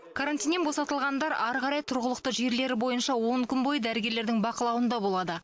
карантиннен босатылғандар ары қарай тұрғылықты жерлері бойынша он күн бойы дәрігерлердің бақылауында болады